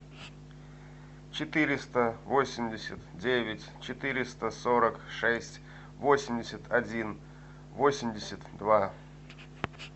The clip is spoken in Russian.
четыреста восемьдесят девять четыреста сорок шесть восемьдесят один восемьдесят два